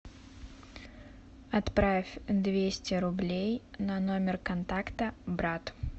отправь двести рублей на номер контакта брат